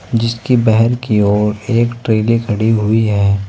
जिसकी की ओर एक ट्रेले खड़ी हुई है।